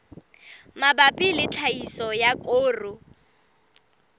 mabapi le tlhahiso ya koro